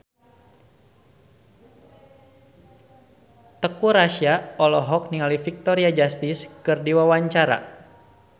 Teuku Rassya olohok ningali Victoria Justice keur diwawancara